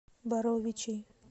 боровичей